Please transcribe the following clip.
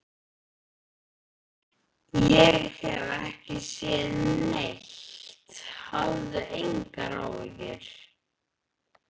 Ég hef ekki séð neitt, hafðu engar áhyggjur.